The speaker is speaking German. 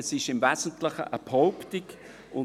Es ist im Wesentlichen eine Behauptung.